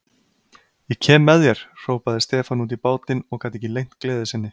Ég kem með þér, hrópaði Stefán út í bátinn og gat ekki leynt gleði sinni.